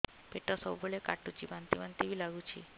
ପେଟ ସବୁବେଳେ କାଟୁଚି ବାନ୍ତି ବାନ୍ତି ବି ଲାଗୁଛି